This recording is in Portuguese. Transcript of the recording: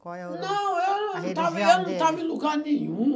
Qual é o nome? Não, eu não estava, eu não estava em lugar nenhum.